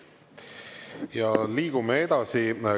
Ja liigume edasi.